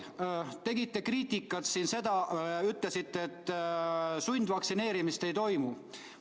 Edasi, ütlesite, et sundvaktsineerimist ei toimu.